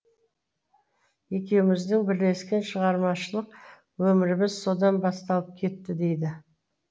екеуміздің бірлескен шығармашылық өміріміз содан басталып кетті дейді